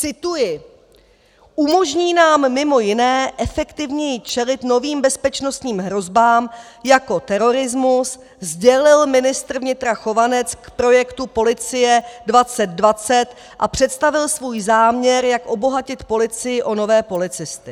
Cituji: "Umožní nám mimo jiné efektivněji čelit novým bezpečnostním hrozbám, jako je terorismus," sdělil ministr vnitra Chovanec k projektu policie 2020 a představil svůj záměr, jak obohatit policii o nové policisty.